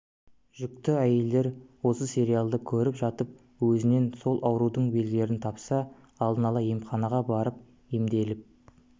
жүкті әйелдер осы сериалды көріп жатып өзінен сол аурудың белгілерін тапса алдын ала емханаға барып емделіп